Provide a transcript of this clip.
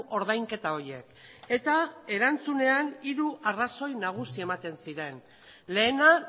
ordainketa horiek eta erantzunean hiru arrazoi nagusi ematen ziren lehena